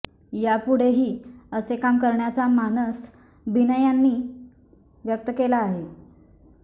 यापूढेही असे काम करण्याचा मानस बिना यांनी व्यक्त केला आहे